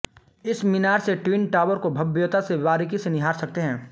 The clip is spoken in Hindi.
इस मीनार से ट्विन टावर की भव्यता को बारीकी से निहार सकते हैं